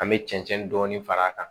An bɛ cɛncɛn dɔɔni far'a kan